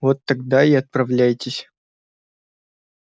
вот тогда и отправляйтесь